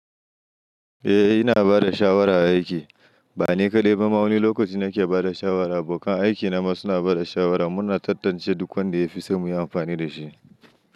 Eh, ina bada shawara a aiki. Bani kaɗai ba, ma wani lokaci nake bada shawara, abokan aiki na ma suna bada shawara. Muna tantance duk wanda ya fi son mu yi anfani da shi.